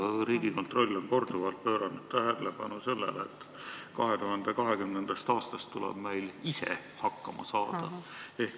Riigikontroll on korduvalt pööranud tähelepanu sellele, et 2020. aastast tuleb meil ise hakkama saada.